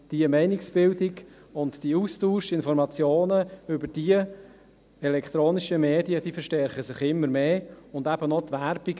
Diese Meinungsbildung und der Austausch der Information über die elektronischen Medien verstärken sich immer mehr und eben auch die Werbung.